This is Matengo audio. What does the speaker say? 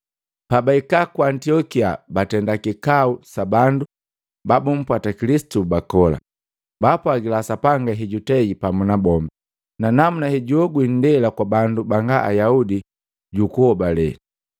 Pabahika ku Antiokia batenda kikau sa bandu babumpwata Kilisitu bakola, baapwagila Sapanga hejutei pamu na bombi, na namuna hejuogwi indela kwa bandu banga Ayaudi jukuhobale.